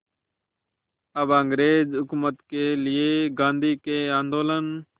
अब अंग्रेज़ हुकूमत के लिए गांधी के आंदोलन